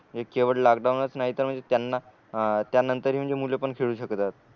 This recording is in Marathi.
एक केवळ लॉकडाऊनच नाही तर म्हणजे त्यांना त्यानंतर हि म्हणजे मुल पण खेळू शकतात